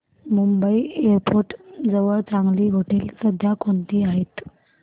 Mumbai airport जवळ चांगली हॉटेलं सध्या कोणती आहेत